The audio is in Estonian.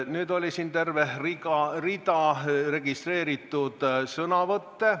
Siin oli terve rida registreeritud sõnavõtte.